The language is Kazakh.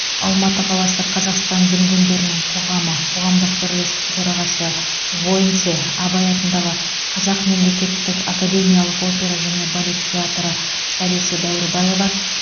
алматы қаласы қазақстан дүнгендерінің қоғамы қоғамдық бірлестіктің төрағасы войнце абай атындағы қазақ мемлекеттік академиялық опера және балет театры солисі дәуірбаева